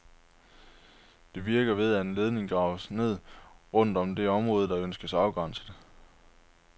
Det virker ved, at en ledning graves ned rundt om det område, der ønskes afgrænset.